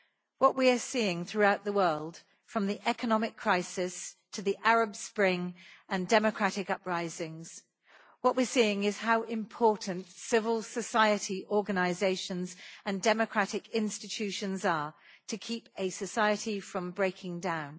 What we are seeing throughout the world, from the economic crisis to the Arab Spring and democratic uprisings, is how important civil society organisations and democratic institutions are in keeping a society from breaking down.